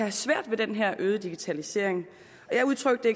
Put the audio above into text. det svært med den her øgede digitalisering jeg udtrykte